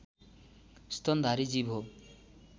स्तनधारी जीव हो